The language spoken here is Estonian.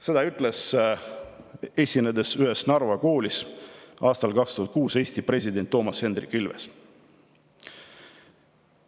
Seda ütles, esinedes ühes Narva koolis, aastal 2006 Eesti president Toomas Hendrik Ilves.